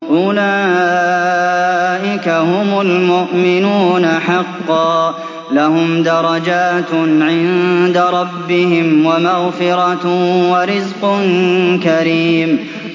أُولَٰئِكَ هُمُ الْمُؤْمِنُونَ حَقًّا ۚ لَّهُمْ دَرَجَاتٌ عِندَ رَبِّهِمْ وَمَغْفِرَةٌ وَرِزْقٌ كَرِيمٌ